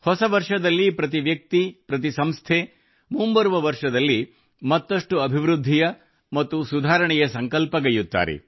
ಹೊಸ ವರ್ಷದಲ್ಲಿ ಪ್ರತಿ ವ್ಯಕ್ತಿ ಪ್ರತಿ ಸಂಸ್ಥೆ ಮುಂಬರುವ ವರ್ಷದಲ್ಲಿ ಮತ್ತಷ್ಟು ಅಭಿವೃದ್ಧಿಯ ಮತ್ತು ಸುಧಾರಣೆಯ ಸಂಕಲ್ಪಗೈಯ್ಯುತ್ತಾರೆ